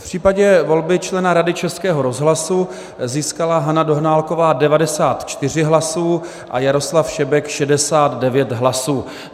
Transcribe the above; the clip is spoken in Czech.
V případě volby člena Rady Českého rozhlasu získala Hana Dohnálková 94 hlasů a Jaroslav Šebek 69 hlasů.